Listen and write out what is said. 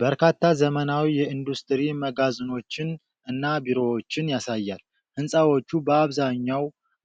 በርካታ ዘመናዊ የኢንዱስትሪ መጋዘኖችን እና ቢሮዎችን ያሳያል። ሕንፃዎቹ በአብዛኛው